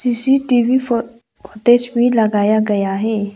CCTV फो footage भी लगाया गया है।